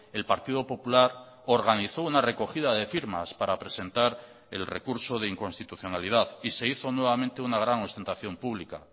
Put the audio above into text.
el partido popular organizó una recogida de firmas para presentar el recurso de inconstitucionalidad y se hizo nuevamente una gran ostentación pública